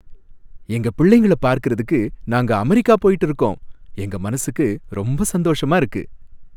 எங்க பிள்ளைங்கள பார்க்கிறதுக்கு நாங்க அமெரிக்கா போயிட்டு இருக்கோம், எங்க மனசுக்கு ரொம்ப சந்தோஷமா இருக்கு.